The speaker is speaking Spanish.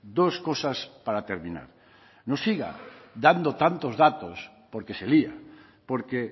dos cosas para terminar no siga dando tantos datos porque se lía porque